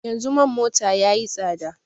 Yanzu man mota ya yi tsada